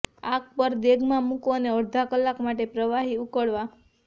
આગ પર દેગમાં મૂકો અને અડધા કલાક માટે પ્રવાહી ઉકળવા